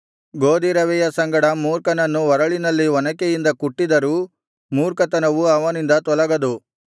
ಗೋದಿರವೆಯ ಸಂಗಡ ಮೂರ್ಖನನ್ನು ಒರಳಿನಲ್ಲಿ ಒನಕೆಯಿಂದ ಕುಟ್ಟಿದರೂ ಮೂರ್ಖತನವು ಅವನಿಂದ ತೊಲಗದು